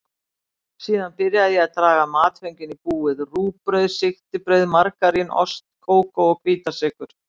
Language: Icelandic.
Síðan byrjaði ég að draga matföngin í búið: rúgbrauð, sigtibrauð, margarín, ost, kókó og hvítasykur.